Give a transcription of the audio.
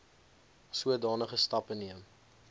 sodanige stappe neem